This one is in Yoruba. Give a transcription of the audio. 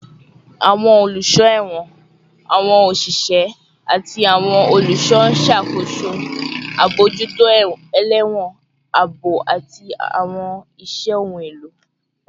Awọn oluso ẹwọn, awọn oṣiṣẹ, ati awọn oluṣọ n ṣakoso abojuto elewon, aabo, ati awọn iṣẹ ohun elo